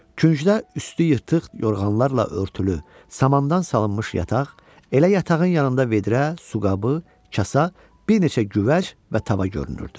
Küncdə üstü yırtıq yorğanlarla örtülü, samandan salınmış yataq, elə yatağın yanında vedrə, su qabı, kasa, bir neçə güvəc və tava görünürdü.